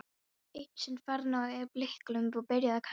Eitt sinn fann ég blýklump og byrjaði að kasta honum.